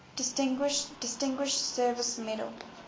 distinguished service medal